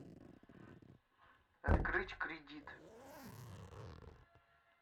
открыть кредит